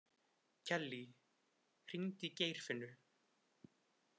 Kellý, hringdu í Geirfinnu.